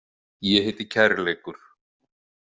Ég heiti kærleikur.